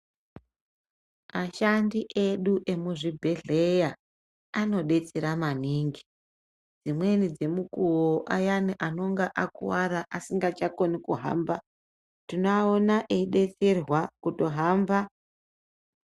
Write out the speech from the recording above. Ashandi edu emuzvibhedheya anodetsera maningi, dzimweni dzemukuwo ayani anonga akuwara asinga chakoni kuhamba tinoona eidetserwa kutohamba.